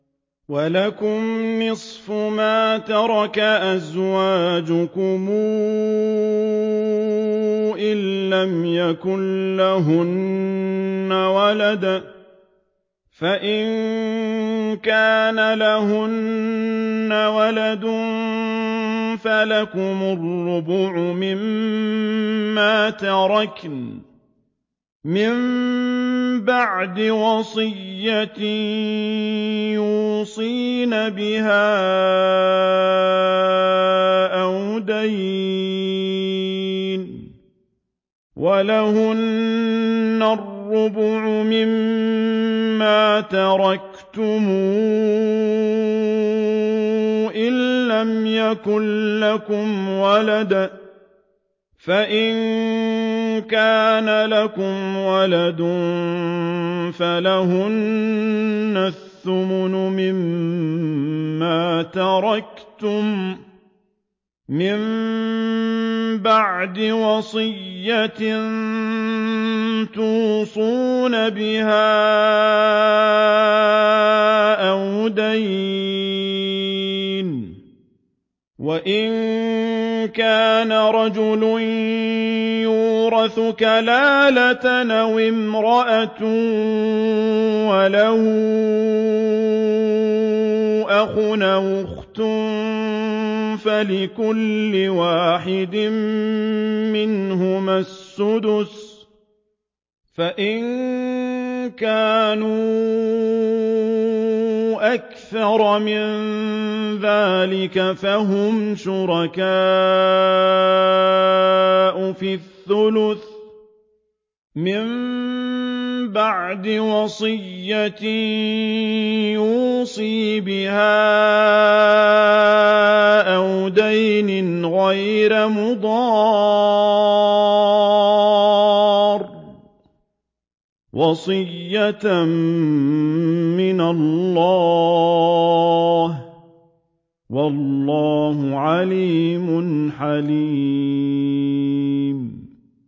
۞ وَلَكُمْ نِصْفُ مَا تَرَكَ أَزْوَاجُكُمْ إِن لَّمْ يَكُن لَّهُنَّ وَلَدٌ ۚ فَإِن كَانَ لَهُنَّ وَلَدٌ فَلَكُمُ الرُّبُعُ مِمَّا تَرَكْنَ ۚ مِن بَعْدِ وَصِيَّةٍ يُوصِينَ بِهَا أَوْ دَيْنٍ ۚ وَلَهُنَّ الرُّبُعُ مِمَّا تَرَكْتُمْ إِن لَّمْ يَكُن لَّكُمْ وَلَدٌ ۚ فَإِن كَانَ لَكُمْ وَلَدٌ فَلَهُنَّ الثُّمُنُ مِمَّا تَرَكْتُم ۚ مِّن بَعْدِ وَصِيَّةٍ تُوصُونَ بِهَا أَوْ دَيْنٍ ۗ وَإِن كَانَ رَجُلٌ يُورَثُ كَلَالَةً أَوِ امْرَأَةٌ وَلَهُ أَخٌ أَوْ أُخْتٌ فَلِكُلِّ وَاحِدٍ مِّنْهُمَا السُّدُسُ ۚ فَإِن كَانُوا أَكْثَرَ مِن ذَٰلِكَ فَهُمْ شُرَكَاءُ فِي الثُّلُثِ ۚ مِن بَعْدِ وَصِيَّةٍ يُوصَىٰ بِهَا أَوْ دَيْنٍ غَيْرَ مُضَارٍّ ۚ وَصِيَّةً مِّنَ اللَّهِ ۗ وَاللَّهُ عَلِيمٌ حَلِيمٌ